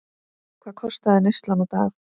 Hvað kostaði neyslan á dag?